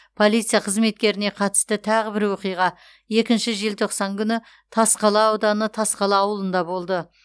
полиция қызметкеріне қатысты тағы бір оқиға екінші желтоқсан күні тасқала ауданы тасқала ауылында болды